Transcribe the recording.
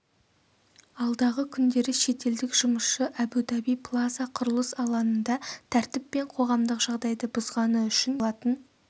алдағы күндері шетелдік жұмысшы әбу-даби плаза құрылыс алаңында тәртіп пен қоғамдық жағдайды бұзғаны үшін елден шығарылатын